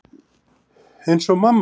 Eins og mamma þín.